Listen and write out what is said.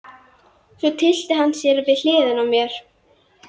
Svo tyllti hann sér við hliðina á mér.